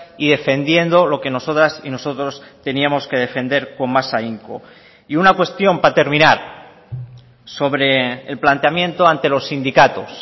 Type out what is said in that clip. y defendiendo lo que nosotras y nosotros teníamos que defender con más ahínco y una cuestión para terminar sobre el planteamiento ante los sindicatos